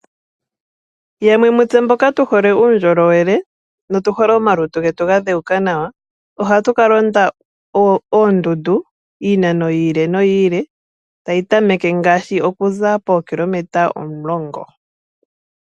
Yamwe yomutse mboka tu hole uundjolowele notu hole omalutu getu ga dheuka nawa ohatu ka londa oondundu iinano yi ili noyi ili tayi tameke ngaashi okuza pookilometa omulongo.